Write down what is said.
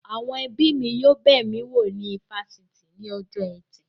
Àwọn ẹbí mi yóò bẹ̀ mí wo ní ifásitì ní ọjọ́ ẹtì